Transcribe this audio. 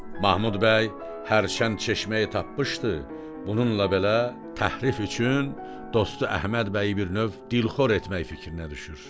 Mahmud bəy hərçənd çeşməyi tapmışdı, bununla belə təhərrüf üçün dostu Əhməd bəyi bir növ dilxor etmək fikrinə düşür.